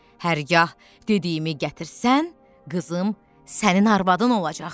Hərgah dediyimi gətirsən, qızım sənin arvadın olacaq.